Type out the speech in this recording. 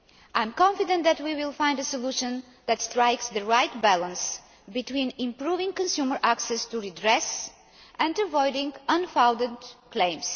I am confident that we will find a solution that strikes the right balance between improving consumer access to redress and avoiding unfounded claims.